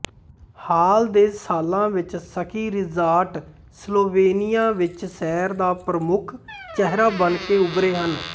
ਹਾਲ ਦੇ ਸਾਲਾਂ ਵਿੱਚ ਸਕੀ ਰਿਜਾਰਟ ਸਲੋਵੇਨਿਆ ਵਿੱਚ ਸੈਰ ਦਾ ਪ੍ਰਮੁੱਖ ਚਿਹਰਾ ਬਣਕੇ ਉਭਰੇ ਹਨ